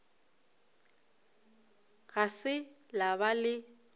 ga se la ba le